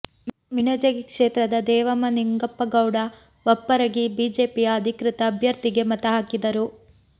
ಮಿಣಜಗಿ ಕ್ಷೇತ್ರದ ದೇವಮ್ಮ ನಿಂಗಪ್ಪಗೌಡ ಬಪ್ಪರಗಿ ಬಿಜೆಪಿಯ ಅಧಿಕೃತ ಅಭ್ಯರ್ಥಿಗೆ ಮತ ಹಾಕಿದರು